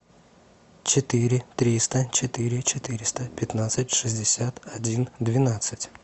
четыре триста четыре четыреста пятнадцать шестьдесят один двенадцать